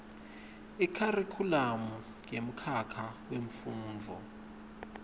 ikharikhulamu yemkhakha wemfundvo